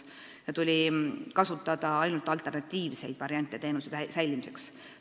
Seetõttu tuli kasutada ainult alternatiivseid variante teenuse säilimiseks.